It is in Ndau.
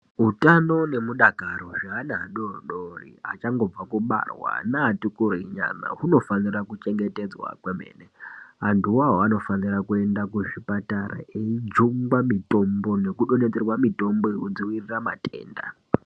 Utano nemudakaro hwevana adori dori achangobva kubarwa neati kurei nyana hunofanira kuchengetedzwa kwemene. Antu ivavo vanofanira kuenda kuzvipatara eijungwa mitombo nekudonhedzerwa mitombo yemudzivirira matenda.